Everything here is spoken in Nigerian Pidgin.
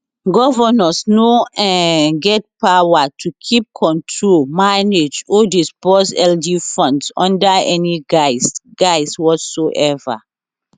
governors no um get power to keep control manage or disburse lg funds under any guise guise whatsoever